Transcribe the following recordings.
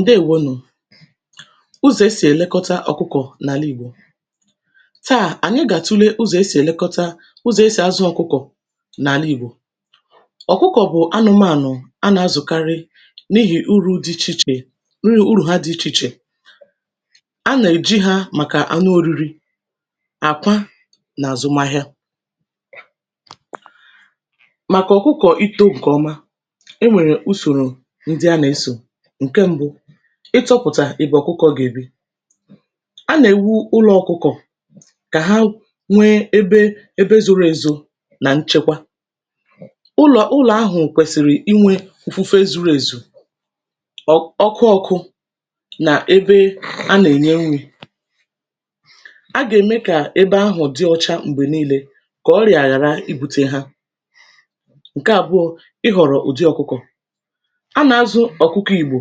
ǹdewo nù ụzọ̀ e sì ẹ̀lẹkọta ọ̀kụkọ̀ n’àla ìgbò tàà ànyị gà àtule ụzọ̀ e sì ẹlẹkọta ụzọ̀ e sì azụ̄ ọ̀kụkọ̀ n’àla ìgbò ọkụkọ̀ bụ̀ anụmànụ̀ a nà azụ̀karị n’ihì urū dị ichè ichè urù hā dị̄ ichè ichè a nà èji hā màkà anụ oriri àkwa nà àzụmahịa màkà ọ̀kụkọ̀ itō ǹkè ọma e nwèrè usòrò ndị a nà esò ǹke mbụ ị chọ̄pụ̀tà èbè ọ̀kụkọ̄ gà èbi a nà èwu ụlọ̄ ọkụkọ̀ kà ha nwe ebe ebe zoro ezo nà nchẹkwa ụlọ̀ ụlọ̀ ahụ̀ kwẹ̀sị̀rị̀ ịnwẹ̄ ǹfufe zuru èzù ọkụ ọkụ nà ebe a nà ẹ̀nyẹ nrị̄ a gà ème kà ebe ahụ dị̄ ocha m̀gbè nine kà ọrịà ghàra ibūte hā ǹkẹ abụọ ịhọ̀rọ̀ ùdi ọ̀kụkọ̀ a nà azụ̀ ọkụkọ ìgbò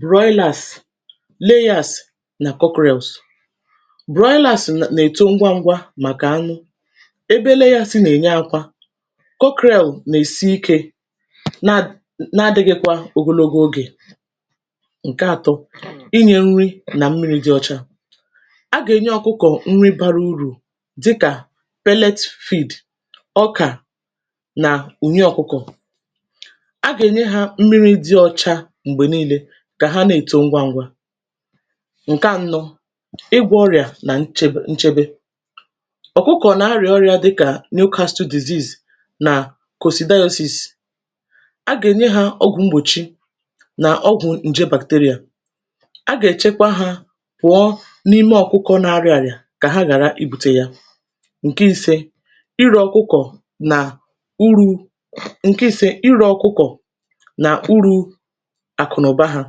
broịlàs leyàs nà kọkrẹ̀ls broịlàs nà èto ngwa ngwa màkà anụ ebe leyàs nà ènye akwa kọkrẹ̀l nà èsi ikē nà nā adịghịkwa ogologo ogè ǹkẹ atọ ịnyẹ̄ nrị nà mmiri dị ocha a gà ènye ọkụkọ̀ nri bara urù dịkà pẹlẹt fịd ọkà nà ùnye ọkụkọ̀ a gà ènye hā mmiri dị ocha m̀gbè nille kà hā nà èto ngwa ngwa ǹkẹ anọ ịgwọ̄ ọrịà nà nchebe ọ̀kụkọ̀ nà arịà ọrịā dịkà nyu kastụl dìziz nà kòsìdayosìs a gà ènye hā ọgwụ̀ mgbòchi nà ọgwụ̀ ǹje bàkteryà a gà èchekwa hā wụ̀ọ n’ime ọ̀kụkọ nā arịā àrịà kà hā ghàra I bute ya ǹkẹ ise ịrẹ ọkụkọ̀ nà urū ǹkẹ ise ịrẹ ọkụkọ̀ nà urū àkụ̀nụ̀ba hā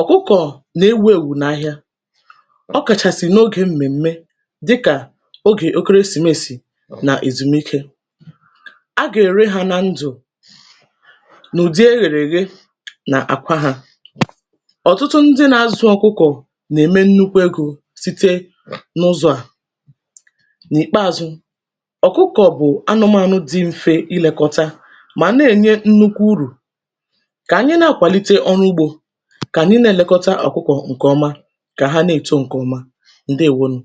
ọ̀kụkọ̀ nà ewūèwù n’ahịa ọ kàchàsị̀ n’ogē m̀mẹm̀mẹ dịkà ogè ekeresìmesì nà èzùmike agà ère hā nā ndụ̀ n’udi erèrè ère nà àkwa hā ọ̀tụtụ ndị nā azụ̄ ọ̀kụkọ̀ n’ème nnukwu egō site n’ụzọ̄ à n’ìkpeazụ ọ̀kụkọ̀ bụ̀ anụmànụ dị̄ mfe ị lẹkọta mà nà ènye nnukwu urù kà ànyị nā akwàlite ọrụ ugbō kà ànyị nā ẹ̀lẹkọta ọ̀kụkọ̀ ǹkè ọma kà hā nà èto ǹkè ọma ǹdewo nù